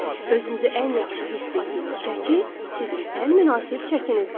Özünüzü ən yaxşı hiss etdiyiniz çəki sizin ən münasib çəkinizdir.